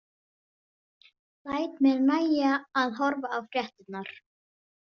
Læt mér nægja að horfa á fréttirnar.